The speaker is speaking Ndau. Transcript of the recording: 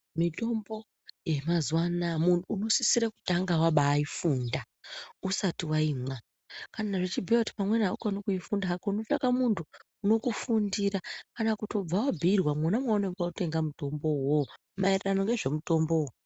Mitombo yamazuwa anaya muntu unosisira kutanga wabaifunda usati waimwa. Kana zvichibhuya kuti pamweni aukoni kuifunda hako unotsvake muntu unokufundira kana kutobva wabhiirwa mona maunenge wautenga mitombo uwowo maererano ngezvemutombowo.